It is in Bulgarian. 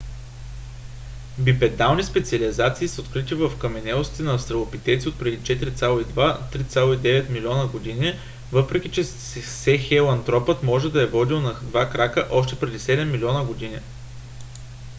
бипедални специализации са открити във вкаменелости на австралопитеци отпреди 4,2 – 3,9 милиона години въпреки че сахелантропът може да е ходил на два крака още преди седем милиона години